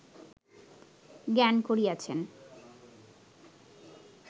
জ্ঞান করিয়াছেন